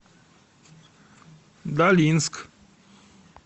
долинск